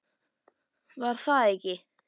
Var það ekki!